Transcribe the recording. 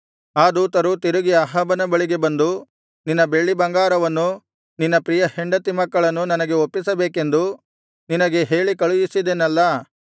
ಆ ದೂತರು ತಿರುಗಿ ಅಹಾಬನ ಬಳಿಗೆ ಬಂದು ನಿನ್ನ ಬೆಳ್ಳಿಬಂಗಾರವನ್ನೂ ನಿನ್ನ ಪ್ರಿಯ ಹೆಂಡತಿ ಮಕ್ಕಳನ್ನು ನನಗೆ ಒಪ್ಪಿಸಬೇಕೆಂದು ನಿನಗೆ ಹೇಳಿಕಳುಹಿಸಿದೆನಲ್ಲಾ